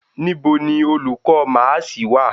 Nibo ni olukọ maasi wa?